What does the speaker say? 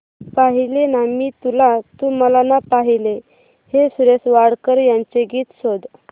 पाहिले ना मी तुला तू मला ना पाहिले हे सुरेश वाडकर यांचे गीत शोध